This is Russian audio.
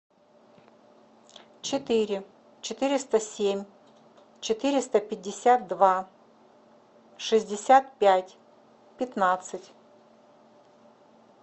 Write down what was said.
четыре четыреста семь четыреста пятьдесят два шестьдесят пять пятнадцать